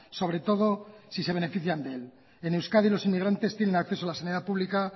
sobre todo si se benefician de él en euskadi los inmigrantes tienen acceso a la sanidad pública